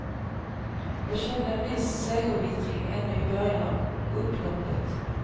Jag kände en viss segervittring ännu i början av upploppet.